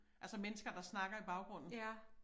Altså mennesker der snakker i baggrunden